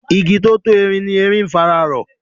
Igi tó tó erin ni erin ń fara rọ.